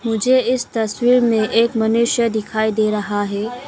मुझे इस तस्वीर में एक मनुष्य दिखाई दे रहा है।